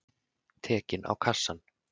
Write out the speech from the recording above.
Tekinn á kassann.